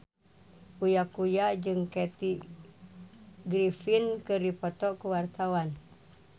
Uya Kuya jeung Kathy Griffin keur dipoto ku wartawan